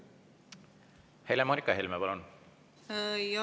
Helle-Moonika Helme, palun!